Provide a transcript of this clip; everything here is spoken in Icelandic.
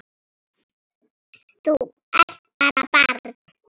Þú ert bara barn.